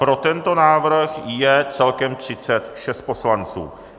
Pro tento návrh je celkem 36 poslanců.